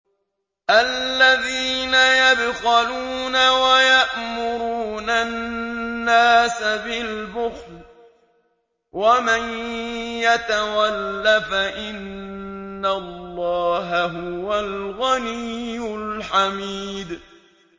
الَّذِينَ يَبْخَلُونَ وَيَأْمُرُونَ النَّاسَ بِالْبُخْلِ ۗ وَمَن يَتَوَلَّ فَإِنَّ اللَّهَ هُوَ الْغَنِيُّ الْحَمِيدُ